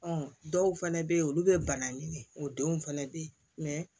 dɔw fɛnɛ bɛ ye olu bɛ bana ɲini o denw fɛnɛ bɛ yen